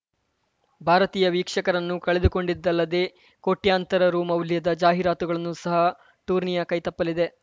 ಭಾರತೀಯ ವೀಕ್ಷಕರನ್ನು ಕಳೆದುಕೊಂಡಿದ್ದಲ್ಲದೇ ಕೋಟ್ಯಂತರ ರು ಮೌಲ್ಯದ ಜಾಹೀರಾತುಗಳನ್ನು ಸಹ ಟೂರ್ನಿಯ ಕೈತಪ್ಪಲಿದೆ